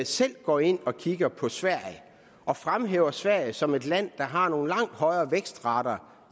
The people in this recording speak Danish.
selv går ind og kigger på sverige og fremhæver sverige som et land der har nogle langt højere vækstrater